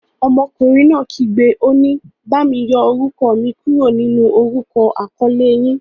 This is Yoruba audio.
Ọmọkùnrin náà kígbe, òní; bami yọ orúkọ mi kúrò nínú orúkọ akọ̀ọ̀lẹ yín.